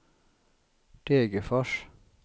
Degerfors